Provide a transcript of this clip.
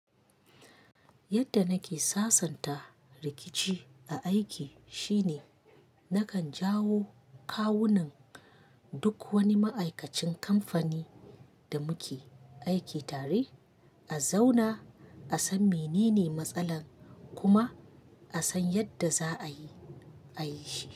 Yadda nake sasanta rikici a aiki shine nakan jawo kawu nan duk wani ma'aikacin kamfanin da muke aiki tare a zauna, a san menene matsalar kuma a san yadda za a yi, a yi shi.